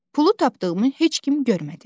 Pulu tapdığımı heç kim görmədi.